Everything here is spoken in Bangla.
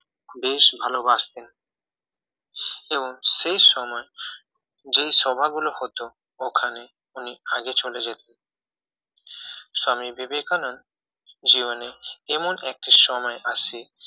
বেশ ভালোবাসতেন এবং সেই সময় যেই সভা গুলো হত ওখানে উনি আগে চলে যেতেন স্বামী বিবেকানন্দ জীবনে এমন একটি সময় আসে